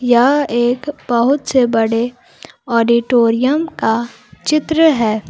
यह एक बहुत से बड़े ऑडिटोरियम का चित्र है।